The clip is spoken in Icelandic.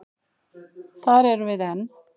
Þar erum við enn.